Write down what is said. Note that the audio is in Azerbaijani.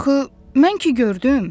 Axı mən ki gördüm!